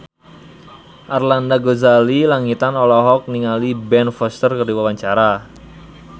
Arlanda Ghazali Langitan olohok ningali Ben Foster keur diwawancara